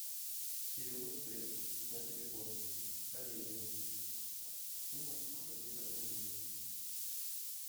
перевод средств на телефон коллеге сумма сто пятьдесят рублей